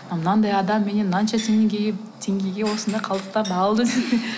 мынадай адам менен мұнша теңгеге осындай қалдықтарды алды деп